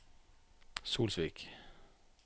Solsvik